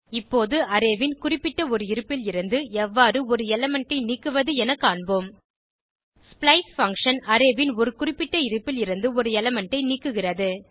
இப்போது அரே ன் குறிப்பிட்ட ஒரு இருப்பில் இருந்து எவ்வாறு ஒரு எலிமெண்ட் ஐ நீக்குவது என காண்போம் ஸ்ப்ளைஸ் பங்ஷன் அரே ன் ஒரு குறிப்பிட்ட இருப்பில் இருந்து ஒரு எலிமெண்ட் ஐ நீக்குகிறது